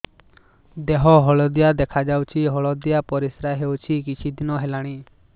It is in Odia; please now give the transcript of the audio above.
ଦେହ ହଳଦିଆ ଦେଖାଯାଉଛି ହଳଦିଆ ପରିଶ୍ରା ହେଉଛି କିଛିଦିନ ହେଲାଣି